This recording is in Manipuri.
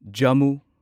ꯖꯝꯃꯨ